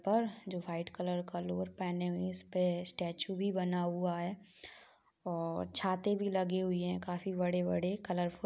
और जो white colour का लोअर पहने हुए हैं। उस पे स्टेचू भी बना हुआ है और छाते भी लगे हुए हैं काफ़ी बड़े-बड़े कलरफुल --